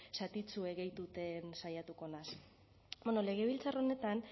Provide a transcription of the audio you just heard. zatitxue gehituten saiatuko naiz bueno legebiltzar honetan